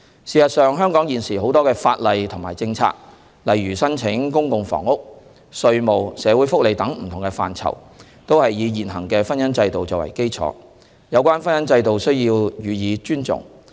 事實上，香港現時很多的法例和政策，例如申請公共房屋、稅務、社會福利等，都是以現行的婚姻制度作為基礎，有關婚姻制度必須予以尊重。